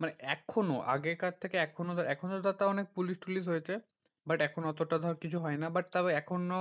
মানে এখনও আগেকার থেকে এখনও এখনও তো তও অনেক পুলিশ টুলিশ হয়েছে। but এখন অতটা ধর কিছু হয় না। but তাও এখনও